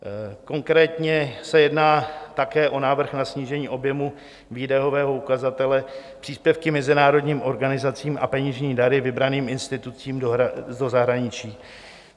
Konkrétně se jedná také o návrh na snížení objemu výdajového ukazatele příspěvky mezinárodním organizacím a peněžní dary vybraným institucím do zahraničí.